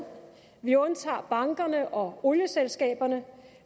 vi undtager bankerne og olieselskaberne